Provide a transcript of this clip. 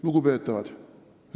Lugupeetavad!